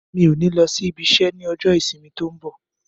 Mi ò ní lọ sí ibi isẹ́ ní ọjọ́ ìsinmi tó ń bọ̀